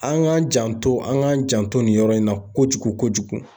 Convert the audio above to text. An k'an janto an k'an janto nin yɔrɔ in na kojugu kojugu